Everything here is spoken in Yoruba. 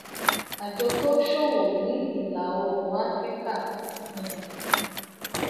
àjọ tó ń ṣòwò ní ìlà oòrùn áfíríkà um